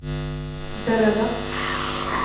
beredda